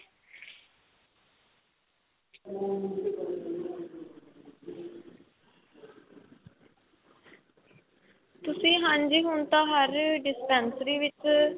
ਤੁਸੀਂ ਹਾਂਜੀ ਹੁਣ ਤਾਂ ਹਰ dispensary ਵਿੱਚ